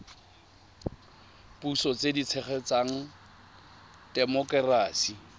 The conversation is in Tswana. puso tse di tshegetsang temokerasi